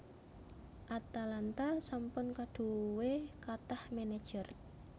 Atalanta sampun kadhuwe kathah manajer